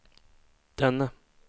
denne